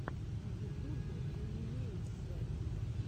на ютубе данилиусзет